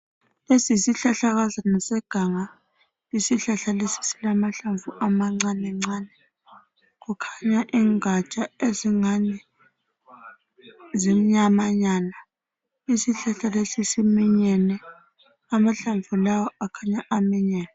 Lesi yisihlahlakazana seganga. Isihlahla lesi silamahlamvu amancane. Kukhanya ingaka ezingani zimnyamanyana. Isihlahla lesi siminyene. Amahlamvu lawa akhanya aminyene.